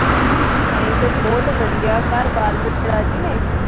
ਅਸੀਂ ਤੇ ਬਹੁਤ ਵਧੀਆ ਘਰ ਬਾਲ ਬੱਚੇ ਰਾਜੀ ਨੇ?